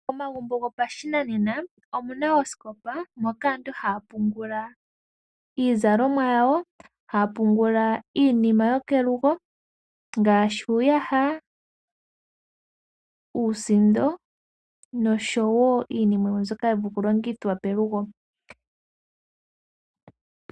Omagumbo gopashinanena ogena oosikopa , moka aantu haya pungula iizalomwa yawo , haya pungula iinima yokelugo ngaashi uuyaha, uusindo noshowoo iinima yimwe mbyoka yapumbwa okulongithwa pelugo.